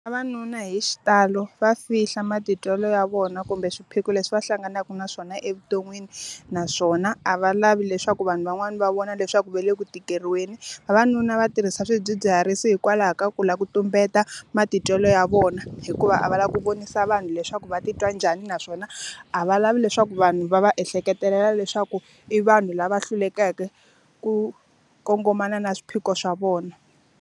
Vavanuna hi xitalo va fihla matitwelo ya vona kumbe swiphiqo leswi va hlanganaka na swona evuton'wini naswona, a va lavi leswaku vanhu van'wani va vona leswaku va le ku tikeriweni. Vavanuna va tirhisa swidzidziharisi hikwalaho ka ku lava ku tumbeta matitwelo ya vona. Hikuva a va lava ku vonisa vanhu leswaku va ti twa njhani naswona, a va lavi leswaku vanhu va va ehleketelela leswaku i vanhu lava hlulekeke ku kongomana na swiphiqo swa vona.